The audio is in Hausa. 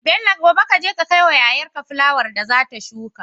Bello gobe kaje ka kai wa yayar ka fulawar da zata shuka